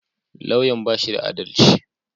Lauyan ya bashi da adalci